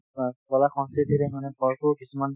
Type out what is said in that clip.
মানে কলা সংস্কৃতি কিছুমান